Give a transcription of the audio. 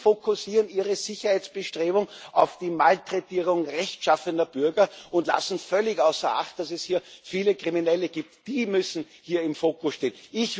Sie fokussieren Ihre Sicherheitsbestrebungen auf die Malträtierung rechtschaffener Bürger und lassen völlig außer Acht, dass es hier viele Kriminelle gibt. Die müssen hier im Fokus stehen.